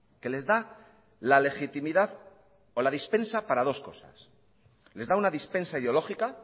que les da la legitimidad o la dispensa para dos cosas les da una dispensa ideológica